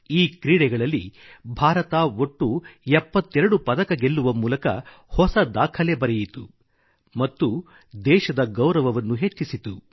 ಈ ಕ್ರೀಡೆಗಳಲ್ಲಿ ಭಾರತ ಒಟ್ಟು 72 ಪದಕ ಗೆಲ್ಲುವ ಮೂಲಕ ಹೊಸ ದಾಖಲೆ ಬರೆಯಿತು ಮತ್ತು ದೇಶದ ಗೌರವವನ್ನು ಹೆಚ್ಚಿಸಿತು